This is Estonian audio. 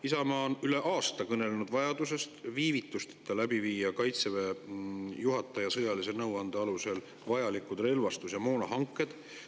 Isamaa on üle aasta kõnelenud vajadusest viia Kaitseväe juhataja sõjalise nõuande alusel viivitusteta läbi vajalikud relvastus‑ ja moonahanked.